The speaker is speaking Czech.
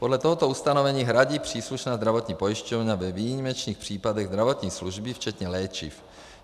Podle tohoto ustanovení hradí příslušná zdravotní pojišťovna ve výjimečných případech zdravotní služby včetně léčiv.